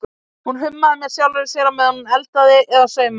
Hún hummaði með sjálfri sér á meðan hún eldaði eða saumaði.